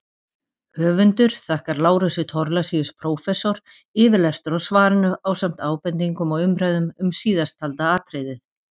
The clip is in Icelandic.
Höfundur þakkar Lárusi Thorlacius prófessor yfirlestur á svarinu ásamt ábendingum og umræðum um síðasttalda atriðið.